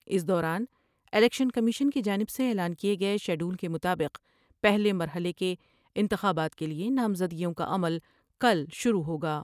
اس دوران election commission کی جانب سے اعلان کئے گئے شیڈول کے مطابق پہلے مرحلے کے انتخابات کے لئے نامزدگیوں کا عمل کل شروع ہوگا ۔